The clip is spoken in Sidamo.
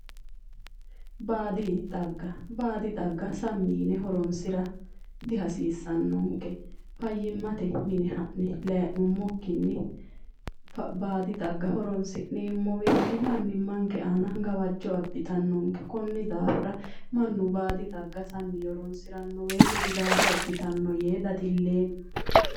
Baadi xagga:-Baado xagga sammi yine horoonssira di hasiissanonke fayimate mine ha'ne layi'nummokinni baadi xaga horoonsi'neemmo woyite mannimanke aana gawajjo abitanonke konni daafira mannu baadi xaga sammi yee horoonsiranno woyite gudaate abitanno yee dadileemma